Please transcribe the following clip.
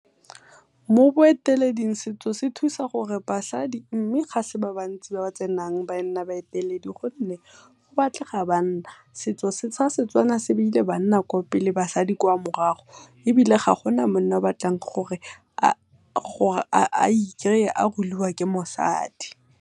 Mo boeteleding setso se thusa gore basadi, mme ga se ba bantsi ba ba tsenang ba nna baeteledi gonne go batlega banna. Setso sa setswana se beile banna kwa pele basadi kwa morago ebile ga gona monna o o batlang gore a ikry-e a ruliwk ke mosadi.